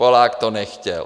Polák to nechtěl.